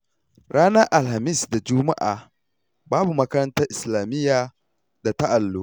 Ranar Alhamis da Juma'a babu makarantar Islamiyya da ta Allo